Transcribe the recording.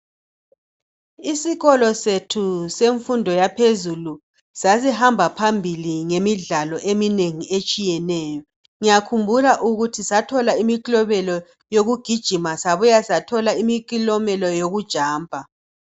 Isikolo sethu semfundo yaphezulu sasihamba phambili ngemidlalo eminengi etshiyeneyo. Ngyakhumbula ukuthi sathola imiklobelo yokugijima sabuya sathola imikilomelo yokujampa.